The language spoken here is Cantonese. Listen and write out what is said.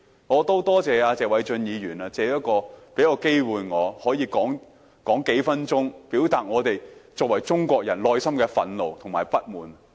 我要感謝謝偉俊議員給我機會，可以發言數分鐘，表達我們作為中國人內心的憤怒和不滿。